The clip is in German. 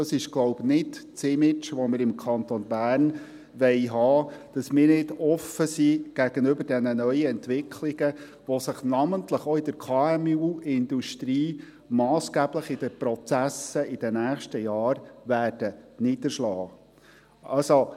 Das ist, glaube ich, nicht das Image, das wir im Kanton Bern haben wollen, wonach wir nicht offen sind gegenüber diesen neuen Entwicklungen, die sich namentlich auch in der KMU-Industrie massgeblich in den Prozessen in den nächsten Jahren niederschlagen werden.